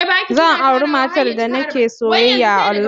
Zan auri matar da nake soyayya online.